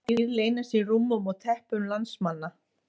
Hvaða dýr leynast í rúmum og teppum landsmanna?